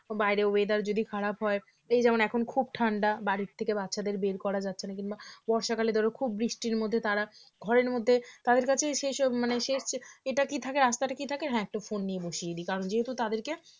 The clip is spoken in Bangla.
বাইরে whether যদি খারাপ হয় এই যেমন এখন খুব ঠান্ডা বাড়ি থেকে বাচ্চাদের বের করা যাচ্ছে না কিংবা বর্ষাকালে ধরো খুব বৃষ্টির মধ্যে তারা ঘরের মধ্যে তাদের কাছে সেই সব মানে সে এটা কি থাকে . কি থাকে হ্যাঁ একটু phone নিয়ে বসিয়ে দিই কারণ যেহেতু তাদেরকে